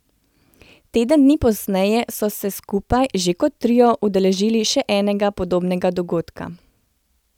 Teden dni pozneje so se skupaj, že kot trio, udeležili še enega podobnega dogodka.